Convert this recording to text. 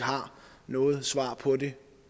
noget svar på det